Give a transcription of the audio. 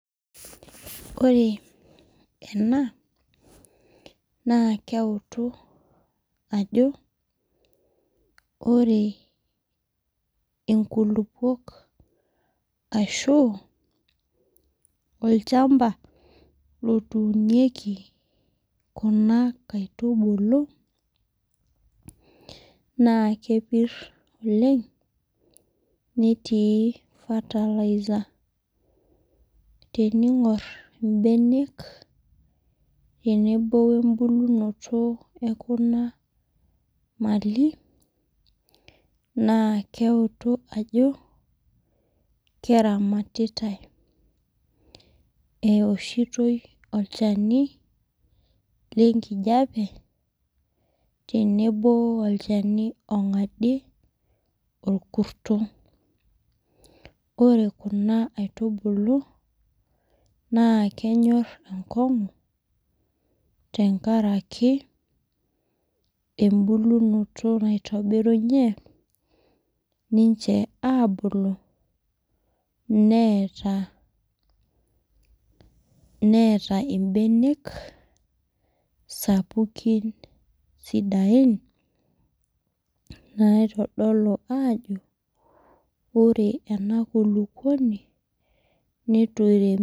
Ore enaa naa keutu ajo ore, inkulupuok ashu olchamba lotunieki kuna kaitubulu naa, kepir oleng netii fertilizer .Teningor ibenek tenebo ebulunoto ekuna maali naa, keutu ajo keramatitae, ewoshitoi olchani le kijape tenebo olchani ongadie orkuto. Ore kuna aitubulu naa kenyor enkongu tenkaraki ebulunoto naitobirunye ninche abulu neata, ibenek sapukin sidain naitodolu ajo ore ena nkulupuoni neitu eirem.